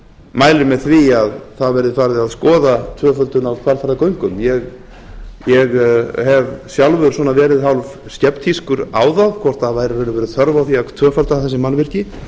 mælir með því að það verði farið að skoða tvöföldun á hvalfjarðargöngum ég hef sjálfur verið hálf skeptískur á það hvort það væri í raun og veru þörf á að tvöfalda þessi mannvirki